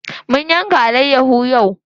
Mun yanka alayyaho yau.